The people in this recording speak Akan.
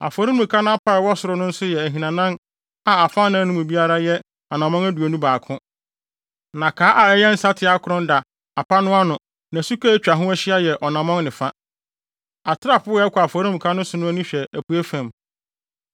Afɔremuka no apa a ɛwɔ soro no nso yɛ ahinanan a afanan no mu biara yɛ anammɔn aduonu baako, na kaa a ɛyɛ nsateaa akron da apa no ano na suka a atwa ho ahyia yɛ ɔnammɔn ne fa. Atrapoe a ɛkɔ afɔremuka no so no ani hwɛ apuei fam.”